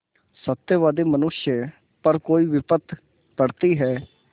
सत्यवादी मनुष्य पर कोई विपत्त पड़ती हैं